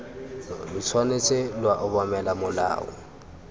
lo tshwanetse lwa obamela molao